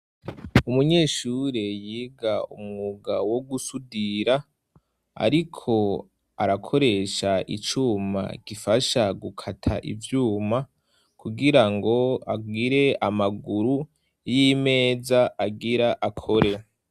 Umunyeshure yiga umugawo wo gusudira, ariko arakoresha icuma gifasha gukata ivyuma kugira ngo agire amaguru y'imeza agira akore.